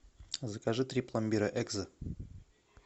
закажи три пломбира экзо